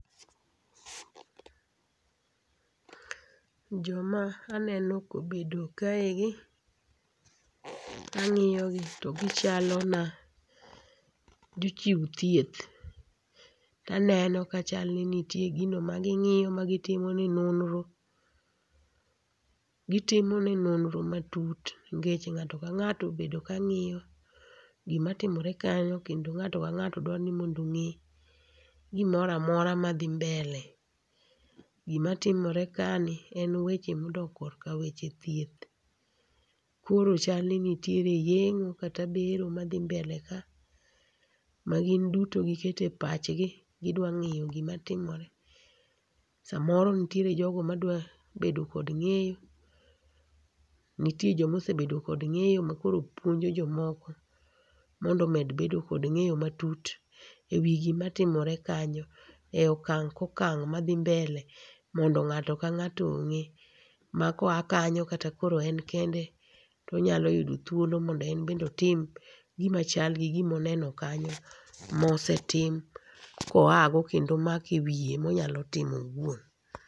Joma aneno ka obedo kaegi ang'iyogi to gichalona jochiw thieth. To aneno ka chal ni niie gino maging'iyo ma gitimone nonro. Gitimone nonro matut nikech ng'ato ka ng'ato obedo kang'iyo gima timore kanyo kendo ng'ato ka ng'ato dwa ni mondo ong'e gimoro amora madhi mbele. Gima timore kaeni en weche modok korka weche thieth. Koro chal ni nitie re yeng'o kata bero maadhi mbele ka magin duto gikete pachgi, gidwa ng'eyo gima timore. Samoro nitie jogo madwa bedo kod ng'eyo nitie joma osebedo kod ng'eyo makoro puonjo jomoko mondo omed bedo kod ng'eyo matut ema timore kanyo e okang' ka okang' madhi mbele mondo ng'ato ka ng'ato ong'e maka oa kanyo kata koro en kende to onyalo yudo thuolo mondo en bende oti m gima chal gi gima oneno kanyo mosetim koago kendo omako ewiye monyalo timo owuok.